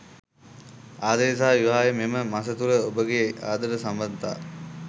ආදරය සහ විවාහය මෙම මස තුළ ඔබගේ ආදර සබඳතා